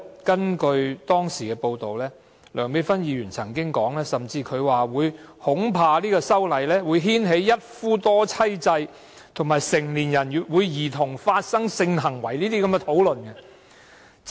根據當時的報道，梁美芬議員甚至曾經說，恐怕修例會牽起一夫多妻制及成年人與兒童發生性行為等討論。